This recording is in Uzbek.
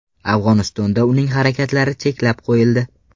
Afg‘onistonda uning harakatlari cheklab qo‘yildi.